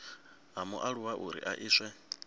ha mualuwa uri a iswe